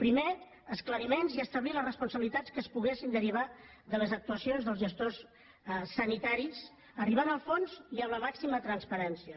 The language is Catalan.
primer esclariments i establir les responsabilitats que es poguessin derivar de les actuacions dels gestors sanitaris arribant al fons i amb la màxima transparència